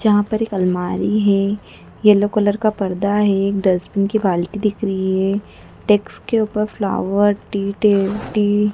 जहां पे एक अलमारी है येलो कलर का पर्दा है डस्टबीन की बाल्टी दिख रही है डेस्क के ऊपर फ्लावर टीटेंटी--